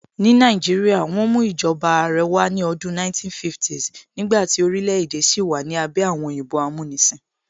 Ní Nàìjíríà, wọ́n mú ìjọba Àrẹ wá ní ọdún 1950s nígbàtí orílẹ̀ èdè sì wà ní abẹ́ àwọn òyìnbó amúnisìn